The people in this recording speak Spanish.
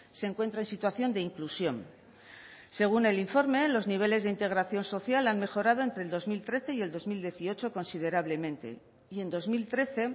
se encuentra en situación de inclusión según el informe los niveles de integración social han mejorado entre el dos mil trece y el dos mil dieciocho considerablemente y en dos mil trece